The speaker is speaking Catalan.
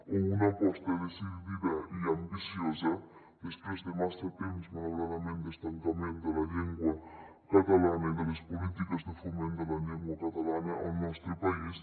o una aposta decidida i ambiciosa després de massa temps malauradament d’estancament de la llengua catalana i de les polítiques de foment de la llengua catalana al nostre país